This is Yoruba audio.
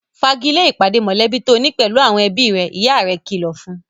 Fa'gilé ìpàdé mọ̀lẹ́bí tó ni pẹ̀lú àwọn ẹbí rẹ' ìyá rẹ̀ kìlọ̀ fún